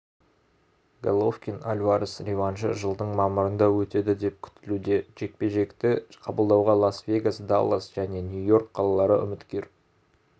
головкин альварес реваншы жылдың мамырында өтеді деп күтілуде жекпе-жекті қабылдауға лас-вегас даллас және нью-йорк қалалары үміткер